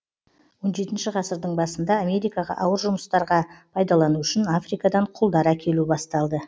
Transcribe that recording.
он жетінші ғасырдың басында америкаға ауыр жұмыстарға пайдалану үшін африкадан құлдар әкелу басталды